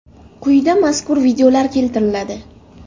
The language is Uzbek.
Quyida mazkur videolar keltiriladi.